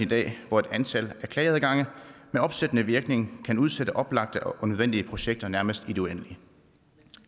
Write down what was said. dag hvor et antal af klageadgange med opsættende virkning kan udsætte oplagte og nødvendige projekter nærmest i det uendelige